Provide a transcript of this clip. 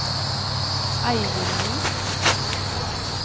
Eivindvik